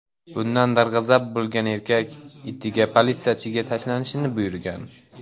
Bundan darg‘azab bo‘lgan erkak itiga politsiyachiga tashlanishni buyurgan.